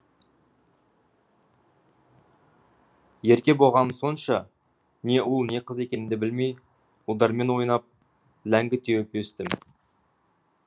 ерке болғаным сонша не ұл не қыз екенімді білмей ұлдармен ойнап ләңгі теуіп өстім